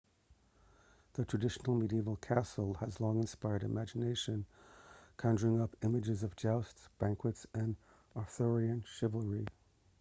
the traditional medieval castle has long inspired the imagination conjuring up images of jousts banquets and arthurian chivalry